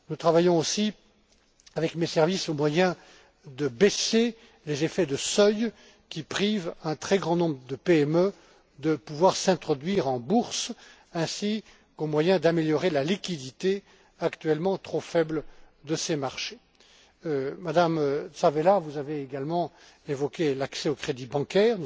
Nous travaillons aussi, avec mes services, aux moyens de baisser les effets de seuil qui privent un très grand nombre de PME de pouvoir s'introduire en bourse, ainsi qu'aux moyens d'améliorer la liquidité actuellement trop faible de ces marchés. Madame Tzavela, vous avez également évoqué l'accès au crédit bancaire.